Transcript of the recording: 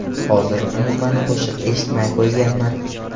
Hozir umuman qo‘shiq eshitmay qo‘yganman.